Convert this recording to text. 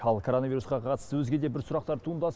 ал короновирусқа қатысты өзге де бір сұрақтар туындас